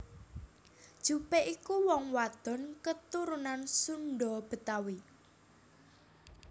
Jupe iku wong wadon keturunan Sunda Betawi